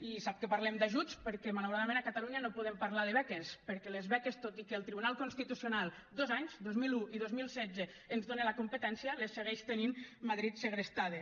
i sap que parlem d’ajuts perquè malauradament a catalunya no podem parlar de beques perquè les beques tot i que el tribunal constitucional dos anys dos mil un i dos mil setze ens dona la competència les segueix tenint madrid segrestades